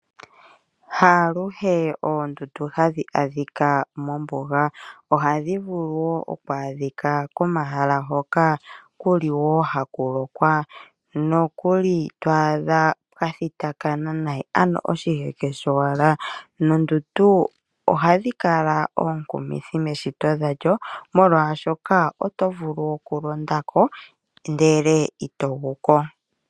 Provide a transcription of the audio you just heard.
Haaluhe oondundu hadhi adhika mombuga. Ohadhi vulu wo okwa adhika komahala hoka ku li wo haku lokwa nokuli twaadha kwa thitakana nayi ano oshiheke showala noondundu ohadhi kala oonkumithi meshito dhalyo molwaashoka oto vulu okulonda ko ndele ito gu ko.